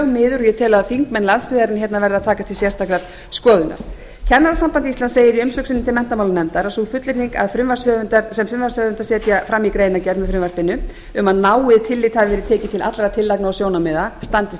miður ég tel að þingmenn landsbyggðarinnar verði að taka til sérstakrar skoðunar kennarasamband íslands segir í umsögn sinni til menntamálanefndar að sú fullyrðing sem frumvarpshöfundar setja fram í greinargerð með frumvarpinu um að náið tillit hafi verið tekið til allra tillagna og sjónarmið standist